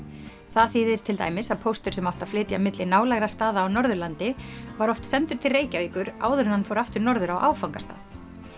það þýðir til dæmis að póstur sem átti að flytja milli nálægra staða á Norðurlandi var oft sendur til Reykjavíkur áður en hann fór aftur norður á áfangastað